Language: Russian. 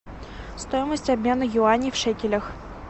стоимость обмена юаней в шекелях